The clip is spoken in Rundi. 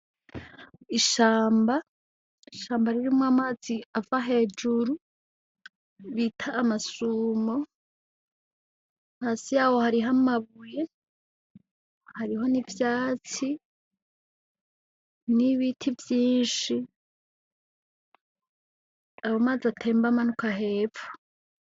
Ishamba ishamba rirumwo amazi ava hejuru bita amasumo hasi yawo hari hamabuye hariho n'ivyatsi n'ibiti vyinshi abo mazi atema mbamanuka hefu.